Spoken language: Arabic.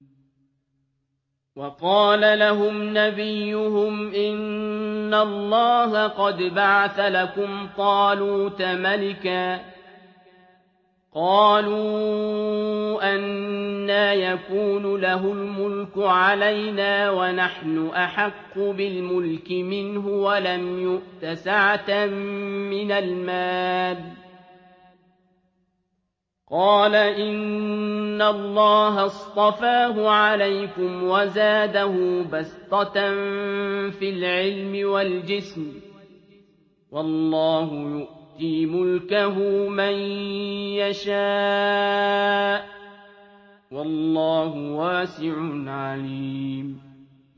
وَقَالَ لَهُمْ نَبِيُّهُمْ إِنَّ اللَّهَ قَدْ بَعَثَ لَكُمْ طَالُوتَ مَلِكًا ۚ قَالُوا أَنَّىٰ يَكُونُ لَهُ الْمُلْكُ عَلَيْنَا وَنَحْنُ أَحَقُّ بِالْمُلْكِ مِنْهُ وَلَمْ يُؤْتَ سَعَةً مِّنَ الْمَالِ ۚ قَالَ إِنَّ اللَّهَ اصْطَفَاهُ عَلَيْكُمْ وَزَادَهُ بَسْطَةً فِي الْعِلْمِ وَالْجِسْمِ ۖ وَاللَّهُ يُؤْتِي مُلْكَهُ مَن يَشَاءُ ۚ وَاللَّهُ وَاسِعٌ عَلِيمٌ